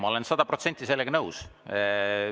Ma olen sada protsenti sellega nõus.